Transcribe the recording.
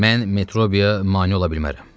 Mən Metrobiya mane ola bilmərəm.